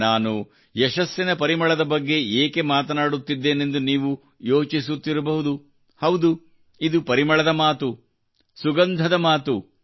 ನಾನು ಯಶಸ್ಸಿನ ಪರಿಮಳದ ಬಗ್ಗೆ ಏಕೆ ಮಾತನಾಡುತ್ತಿದ್ದೇನೆಂದು ನೀವು ಯೋಚಿಸುತ್ತಿರಬಹುದುಹೌದು ಇದು ಪರಿಮಳದ ಮಾತು ಸುಗಂಧದ ಮಾತು